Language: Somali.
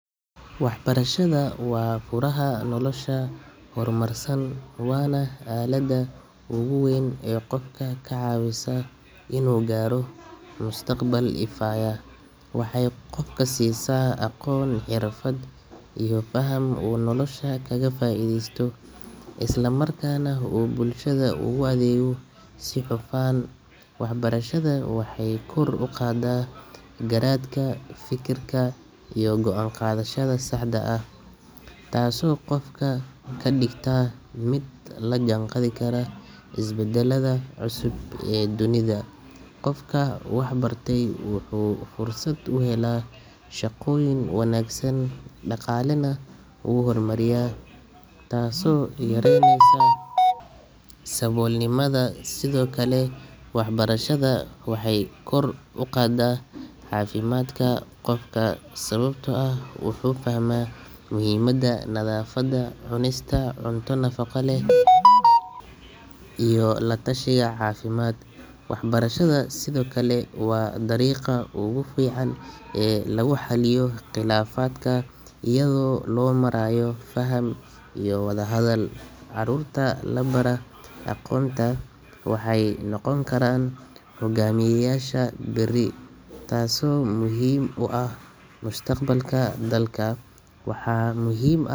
Waxbarashadu waa furaha nolosha horumarsan waana aaladda ugu weyn ee qofka ka caawisa inuu gaaro mustaqbal ifaya. Waxay qofka siisaa aqoon, xirfad iyo faham uu nolosha kaga faa’iideysto, isla markaana uu bulshada ugu adeego si hufan. Waxbarashada waxay kor u qaadaa garaadka, fekerka iyo go’aan qaadashada saxda ah, taasoo qofka ka dhigta mid la jaanqaadi kara isbeddelada cusub ee dunida. Qofka waxbartay wuxuu fursad u helaa shaqooyin wanaagsan, dhaqaalena wuu horumariyaa, taasoo yareyneysa saboolnimada. Sidoo kale waxbarashada waxay kor u qaadaa caafimaadka qofka, sababtoo ah wuxuu fahmaa muhiimadda nadaafadda, cunista cunto nafaqo leh, iyo la-tashiga caafimaad. Waxbarashada sidoo kale waa dariiqa ugu fiican ee lagu xalliyo khilaafaadka iyadoo loo marayo faham iyo wada-hadal. Carruurta la baraa aqoonta waxay noqon karaan hogaamiyeyaasha berri, taasoo muhiim u ah mustaqbalka dalka. Waxaa muhiim ah.